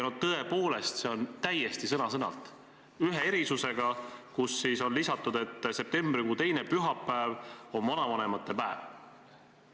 Tõepoolest, see on sõna-sõnalt sarnane, ühe erinevusega, on lisatud, et septembrikuu teine pühapäev on vanavanemate päev.